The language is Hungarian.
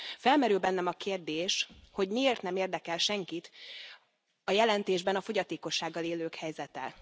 Felmerül bennem a kérdés, hogy miért nem érdekel senkit a jelentésben a fogyatékossággal élők helyzete?